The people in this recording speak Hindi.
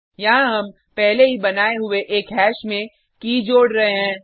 यहाँ हम पहले ही बनाये हुये एक हैश में की जोड़ रहे हैं